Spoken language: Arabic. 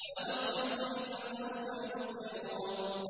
وَأَبْصِرْهُمْ فَسَوْفَ يُبْصِرُونَ